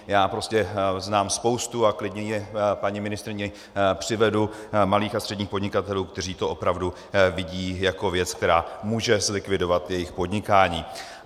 Já prostě znám spoustu - a klidně je paní ministryni přivedu - malých a středních podnikatelů, kteří to opravdu vidí jako věc, která může zlikvidovat jejich podnikání.